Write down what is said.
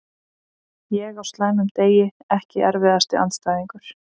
Ég á slæmum degi Ekki erfiðasti andstæðingur?